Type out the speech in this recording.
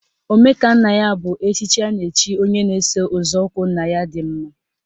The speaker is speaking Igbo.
Omekannaya bụ echichi a na-echi onye na-eso nzọụkwụ nna ya dị mma.